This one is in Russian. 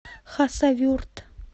хасавюрт